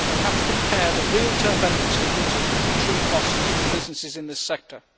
We have to compare the real benefits for users with the true costs to businesses in this sector.